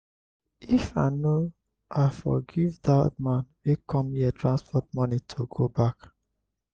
if i no i for give dat man wey come here transport money to go back.